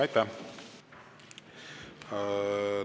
Aitäh!